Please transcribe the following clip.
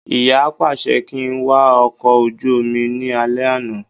Ìyá pàṣẹ kí n wà ọkọ̀ ojú omi ní alẹ́ àná